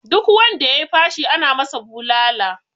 Duk wanda ya yi fashi ana masa bulala